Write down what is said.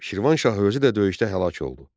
Şirvanşahı özü də döyüşdə həlak oldu.